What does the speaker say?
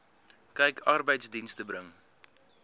kyk arbeidsdienste bring